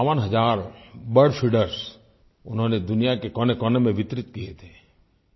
क़रीब 52 हज़ार bird feeders उन्होंने दुनिया के कोनेकोने में वितरित किये थे